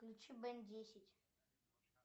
включи бен десять